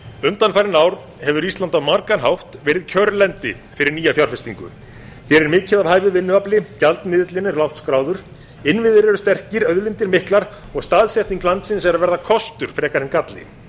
undanfarin ár hefur ísland á margan hátt verið kjörlendi fyrir nýja fjárfestingu hér er mikið af hæfu vinnuafli gjaldmiðillinn er lágt skráður innviðir eru sterkir auðlindir miklar og staðsetning landsins er að verða kostur frekar en galli